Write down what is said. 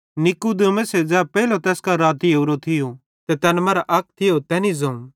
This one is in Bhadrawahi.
नीकुदेमुसे ज़ै पेइलो तैस कां राती ओरो थियो ते तैना मरां अक थियो तैनी ज़ोवं